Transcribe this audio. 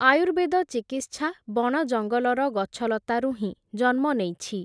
ଆୟୁର୍ବେଦ ଚିକିତ୍ସା ବଣ ଜଙ୍ଗଲର ଗଛଲତାରୁ ହିଁ, ଜନ୍ମ ନେଇଛି ।